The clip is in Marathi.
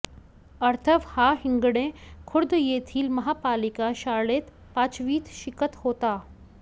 अथर्व हा हिंगणे खुर्द येथील महापालिका शाळेत पाचवीत शिकत होता